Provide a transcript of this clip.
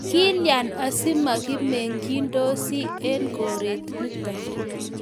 kilyan asimaki meng'dosi eng' koret nito?